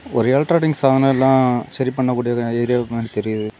ஒரு எலக்ட்ரானிக்ஸ் சாதனோ எல்லா சரிப்பன்னக்கூடிய ஏரியா மாரி தெரியுது.